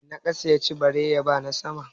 Mai na ƙasa ya ci bare ya ba na sama?